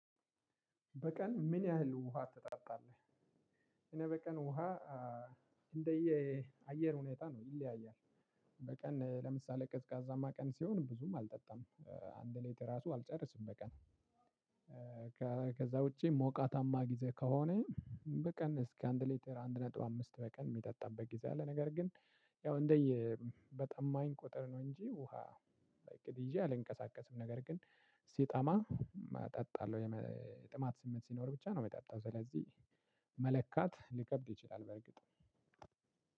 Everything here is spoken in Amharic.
በቀን ምን ያህል ውሃ ትጠጣለህ? እኔ በቀን ውሃ እንደየ አየር ሁኔታ ነው ይለያያል። በቀን ለምሳሌ ቀዝቃዛማ ቀን ሲሆን ብዙም አልጠጣም አንድ ሌትር ራሱ አልጨርስም በቀን። ከዛ ውጪ ሞቃታማ ጊዜ ከሆነ። በቀን እስከ አንድ ሌተር አንድ ነጥብ አምስት በቀን እሚጠጣበት ጊዜ አለ። ነገር ግን ያው እንደየ በጣማኝ ቁጥር ነው እንጂ ውሃ። እቅድ ይዤ አልንቀሳቀስም ነገር ግን ሲጣማ እጠጣለሁ። የጥማት ስሜት ሲኖር ብቻ ነው እምጠጣው። ስለዚህ መለካት ሊከብድ ይችላል በርግጥ።